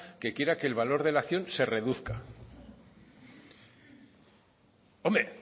que quiera que el valor de la acción se reduzca hombre